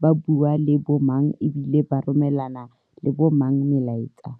ba bua le bo mang e bile ba romelana le bo mang melaetsa.